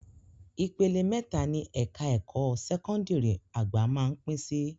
Ìpele mẹ́ta ni ẹ̀ka ẹ̀kọ́ sẹ́kọ́ndìrì àgbà máá ń pín sí